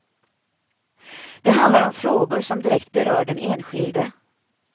Det handlar om frågor som direkt berör den enskilde.